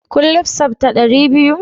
Kun lissafta dari biyu?